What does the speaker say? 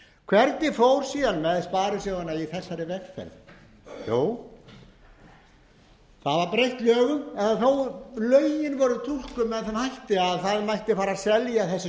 hvernig fór síðan með sparisjóðina í þessari vegferð jú það var breytt lögum eða lögin voru túlkuð með þeim hætti að það mætti fara að selja þessi